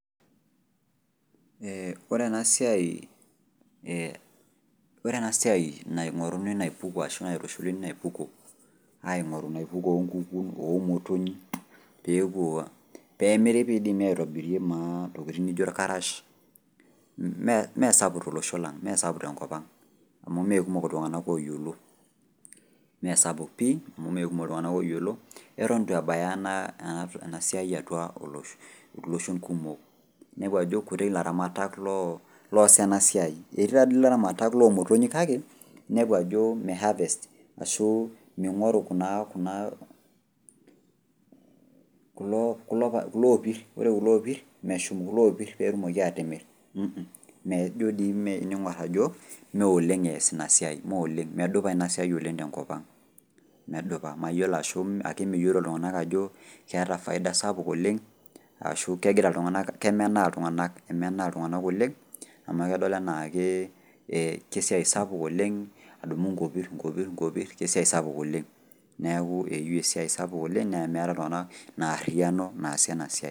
Eeh orena siai ee, ore ena siai naing'oruni naipuko ashu naitushuli naipuko, aaing'oru naipuko onkukun, oomotonyi peepuo, peemiri peeidimi aitobirie naa ntokitin nijo ilkarash meesapuk tolosho lang', meesapuk tenkopang' amu meekumok iltung'ana ooyiolo. Meesapuk pii amu meekumok iltung'ana ooyiolo eton eitu ebaya ena enasiai atua olosho, iloshon kumok inepu ajo kuti ilaramatak looas ena siai. Etii taadii laramatak loomotonyi kake inepu ajoo meihavest ashuu meing'oru kunaa, kuna kuloopirr , ore kuloopirr meshum kuloopirr peetumoki aatimirr [mh mh] ijo dii meing'orr ajo mooleng' eas inasiai, meooleng' medupa inasiai oleng' tenkopang'. Medupa,. Mayiolo ashu meyiolo iltung'ana ajo keata faida sapuk oleng' ashu kegira iltung'ana, kemenaa iltung'anak , emenaa iltung'anak oleng' amu kedol anaakee [ee] kesiai sapuk oleng' adumu nkopirr nkopirr nkopirr, kesiai sapuk oleng' neaku eyiu esiai sapuk oleng' nemeeta iltung'ana inaarriyano naasie ena siai.